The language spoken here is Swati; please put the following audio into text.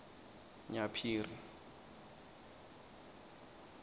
nyaphiri